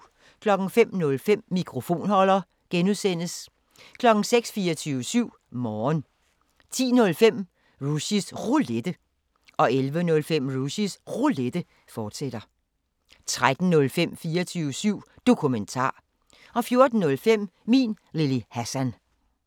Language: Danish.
05:05: Mikrofonholder (G) 06:00: 24syv Morgen 10:05: Rushys Roulette 11:05: Rushys Roulette, fortsat 13:05: 24syv Dokumentar 14:05: Min Lille Hassan